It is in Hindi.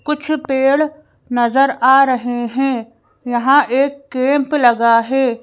कुछ पेड़ नजर आ रहे हैं यहाँ एक कैंप लगा है।